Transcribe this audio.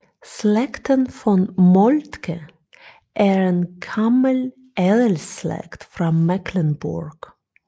Slægten von Moltke er en gammel adelsslægt fra Mecklenburg